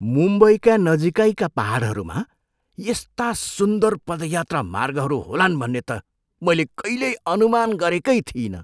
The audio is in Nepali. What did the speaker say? मुम्बईका नजिकैका पाहाडहरूमा यस्ता सुन्दर पदयात्रा मार्गहरू होलान् भन्ने त मैले कहिल्यै अनुमान गरेकै थिइनँ।